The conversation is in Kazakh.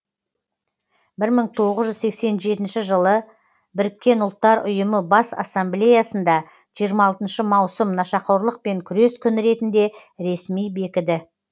мың тоғыз жүз сексен жетінші жылы біріккен ұлттар ұйымының бас ассамблеясында жиырма алтыншы маусым нашақорлықпен күрес күні ретінде ресми бекіді